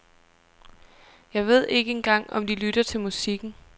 Jeg ved ikke engang om de lytter til musikken.